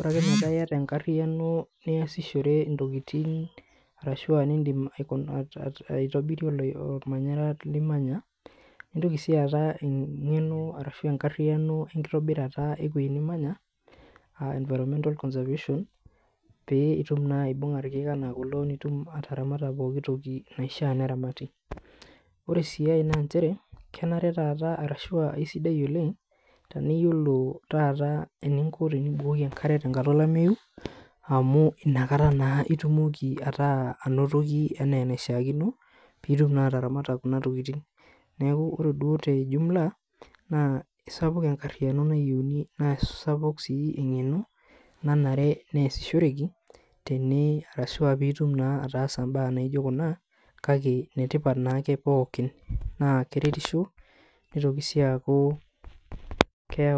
ore ake metaa yata enkarriyiano niasishore intokiting, arashua nidim aitobirie ormanyara limanya, nintoki si aata eng'eno arashu enkarriyiano enkitobirata ewei nimanya, ah environmental conservation pee itum naa aibung'a irkeek enaa kulo nitum ataramata pooki toki naishaa neramati. Ore si ai na njere, kenare taata arashua isidai oleng, tenaiyiolo taata eninko tenibukoki enkare tenkata olameyu, amu inakata naa itumoki ataa anotoki enaa enaishaakino, pitum naa ataramata kuna tokiting. Neeku ore duo te jumla, naa kisapuk enkarriyiano nayieuni na sapuk si eng'eno, nanare nesishoreki, tene arashua pitum naa ataasa imbaa naijo kuna, kake netipat nake pookin. Naa keretisho, nitoki si aku keu